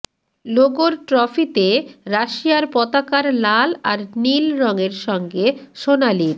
লোগোর ট্রফিতে রাশিয়ার পতাকার লাল আর নীল রঙের সঙ্গে সোনালির